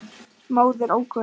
Móðir ókunn.